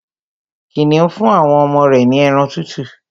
Kìnìún fún àwọn ọmọ rẹ̀ ní ẹran tútù